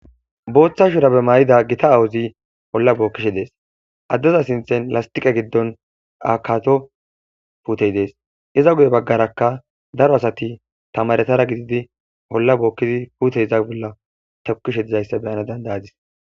Bootha shubare mayida gita aawozi olla bookishe dees. Addeza sinthan lastiqe gidon dhataco puuteti dees. Iza guyeraka daro asati tamaretas gididi olla bookidi puute iza bolla tokishe dizaysa beyana danda'adis.